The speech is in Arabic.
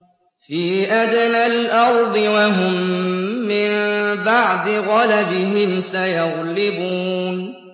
فِي أَدْنَى الْأَرْضِ وَهُم مِّن بَعْدِ غَلَبِهِمْ سَيَغْلِبُونَ